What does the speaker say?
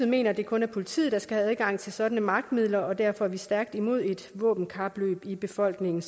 mener at det kun er politiet der skal have adgang til sådanne magtmidler og derfor er vi stærkt imod et våbenkapløb i befolkningen